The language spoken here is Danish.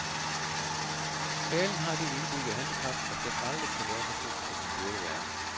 Talen har det indbyggede handicap, at den aldrig kan være så god som den burde være.